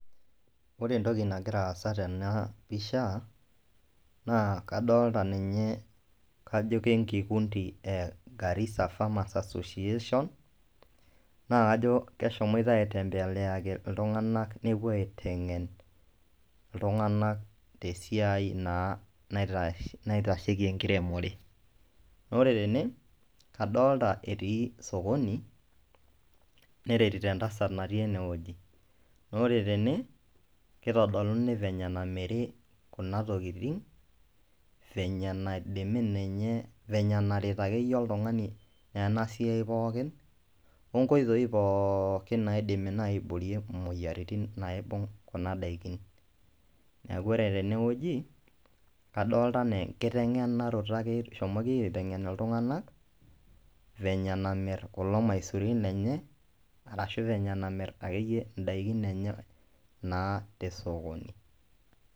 Ore entoki nagira aasa tena pisha naa kadolta ninye kajo ke nkikundi e Garissa farmers association, naa kajo keshomoita aitembeleaki iltung'anak nepuo aiteng'en iltung'anak te siai naa naitash naitasheki enkiremore. Naa ore tene, adolta etii sokoni, neretito entasat natii ene woji, naa ore tene itodoluni venye nameri kuna tokitin, venye naidimi ninye venye naret akeyie oltung'ani ena siai pookin oo nkoitoi pookin naidimi nai aiborie moyiaritin naibung' kuna daikin. Neeku ore tene wueji kadolta enaa enkiteng'enaroto eshomoki aiteng'en iltung'anak venye namir kulo maisurin lenye arashu venye namir ndaikin enye naa te esokoni.